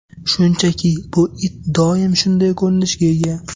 Shunchaki bu it doim shunday ko‘rinishga ega.